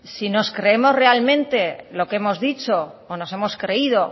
si nos creemos realmente lo que hemos dicho o nos hemos creído